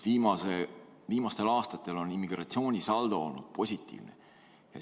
Viimastel aastatel on immigratsioonisaldo olnud positiivne.